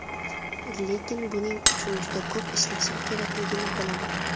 Lekin buning uchun juda ko‘p ishlashim kerakligini bilaman.